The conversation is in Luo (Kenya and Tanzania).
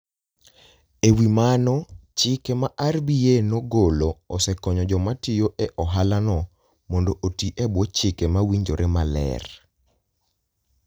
E wi mano, chike ma RBA nogolo osekonyo joma tiyo e ohalano mondo oti e bwo chike mawinjore maler.